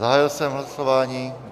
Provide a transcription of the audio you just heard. Zahájil jsem hlasování.